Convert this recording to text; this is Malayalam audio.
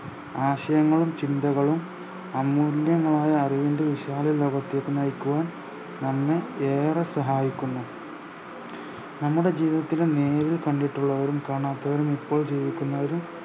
ആശയങ്ങളും ചിന്തകളും അമൂല്യമായ അറിവിന്റെ വിശാല ലോകത്തേക്ക് നയിക്കുവാൻ നമ്മെ ഏറെ സഹായിക്കുന്നു നമ്മുടെ ജീവിതത്തിലെ നേരിൽ കണ്ടിട്ടുള്ളവരും കാണാത്തവരും ഇപ്പോൾ ജീവിക്കുന്നവരും